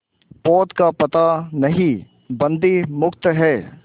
पोत का पता नहीं बंदी मुक्त हैं